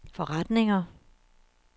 forretninger